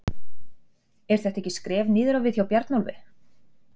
Er þetta ekki skref niður á við hjá Bjarnólfi?